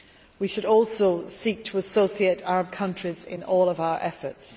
We should also seek to associate Arab countries in all of our efforts.